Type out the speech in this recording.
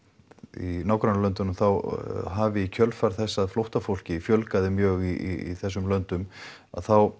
í nágrannalöndunum hafi í kjölfar þess að flóttafólki fjölgaði um mjög í þessum löndum að þá